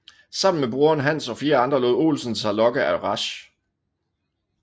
Sammen med broren Hans og fire andre lod Olsen sig lokke af Rasch